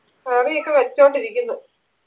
curry ഒക്കെ വെച്ചോണ്ടിരിക്കുന്നു